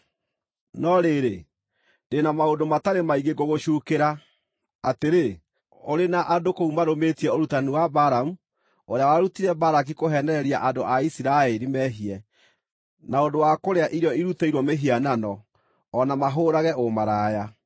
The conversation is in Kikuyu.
No rĩrĩ, ndĩ na maũndũ matarĩ maingĩ ngũgũcuukĩra: atĩrĩ, ũrĩ na andũ kũu marũmĩtie ũrutani wa Balamu, ũrĩa warutire Balaki kũheenereria andũ a Isiraeli mehie na ũndũ wa kũrĩa irio irutĩirwo mĩhianano, o na mahũũrage ũmaraya.